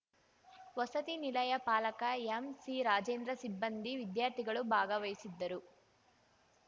ವಸತಿ ನಿಲಯ ಪಾಲಕ ಎಂಸಿರಾಜೇಂದ್ರ ಸಿಬ್ಬಂದಿ ವಿದ್ಯಾರ್ಥಿಗಳು ಭಾಗವಹಿಸಿದ್ದರು